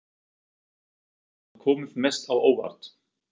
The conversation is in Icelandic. Hverjir hafa komið mest á óvart?